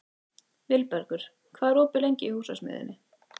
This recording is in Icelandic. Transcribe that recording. Vilbergur, hvað er opið lengi í Húsasmiðjunni?